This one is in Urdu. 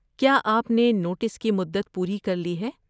کیا آپ نے نوٹس کی مدت پوری کر لی ہے؟